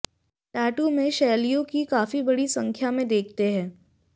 tattoo में शैलियों की काफी बड़ी संख्या में देखते हैं